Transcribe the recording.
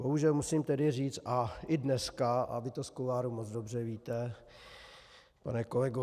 Bohužel musím tedy říct a i dneska, a vy to z kuloárů moc dobře víte, pane kolego